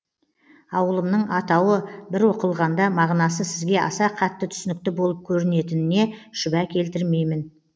ауылымның атауы бір оқылғанда мағынасы сізге аса қатты түсінікті болып көрінетініне шүбә келтірмеймін